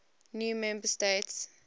new member states